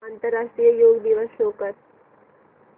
आंतरराष्ट्रीय योग दिवस शो कर